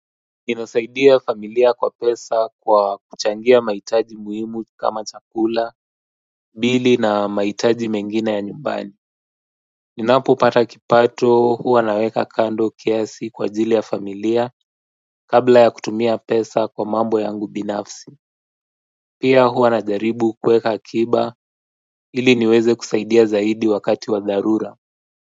Ninasaidia familia kwa pesa kwa kuchangia mahitaji muhimu kama chakula, bili na mahitaji mengine ya nyumbani ninapopata kipato huwa naweka kando kiasi kwa ajili ya familia kabla ya kutumia pesa kwa mambo yangu binafsi pia huwa najaribu kuweka akiba ili niweze kusaidia zaidi wakati wa dharura.